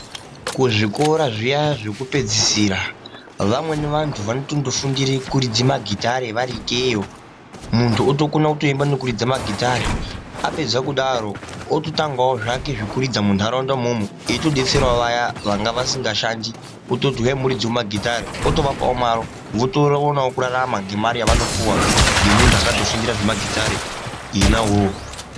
Kuzvikora zviya zvekupedzisira vamweni vantu vanotondofundire kurudza magitari vari ikeyo. Muntu otokona kutoimba nekuridza magitari. Apedza kudaro atotangavo zvake zvekuridza muntaraunda imomo eitobetseravo vaya vangavasingashandi ototi huyai muridzevo magitari, otovapavo mari votora voonavo kurarama ngemare yavanopuva ngemuntu akatofundira zvemagitare ena iwowo.